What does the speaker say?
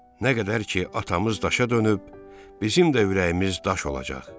Nə qədər ki, atamız daşa dönüb, bizim də ürəyimiz daş olacaq.